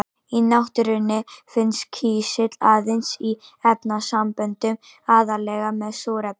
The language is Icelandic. Í náttúrunni finnst kísill aðeins í efnasamböndum, aðallega með súrefni.